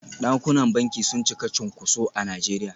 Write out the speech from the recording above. Dakunan banki sun cika cunkuso a Najeriya.